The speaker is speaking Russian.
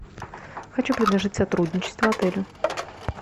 хочу предложить сотрудничество отелю